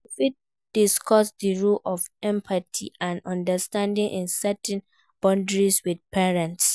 You fit discuss di role of empathy and understanding in setting boundaries with parents.